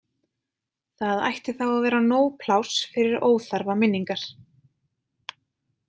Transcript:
Það ætti þá að vera nóg pláss fyrir óþarfa minningar.